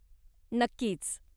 नक्कीच.